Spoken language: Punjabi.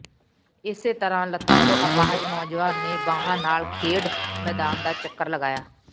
ਇਸੇ ਤਰ੍ਹਾਂ ਲੱਤਾਂ ਤੋਂ ਅਪਾਹਜ ਨੌਜਵਾਨ ਨੇ ਬਾਹਾਂ ਨਾਲ ਖੇਡ ਮੈਦਾਨ ਦਾ ਚੱਕਰ ਲਗਾਇਆ